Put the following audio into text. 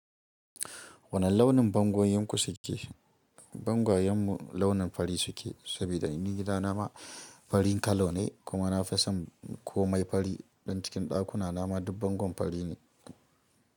Wane launin bangon yanku suke? Bwangayen mu launin fari suke, saboda ni gidana ma farin kala ne, kuma na fi son komai fari. Don cikin dakuna na ma duk bangon fari ne.